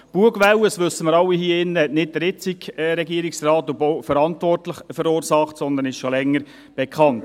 Die Bugwelle – dies wissen wir alle hier – hat nicht der jetzige Regierungsrat und Bauverantwortliche verursacht, sondern diese ist schon länger bekannt.